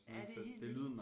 Ja det er helt vildt